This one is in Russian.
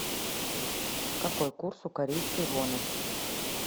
какой курс у корейской воны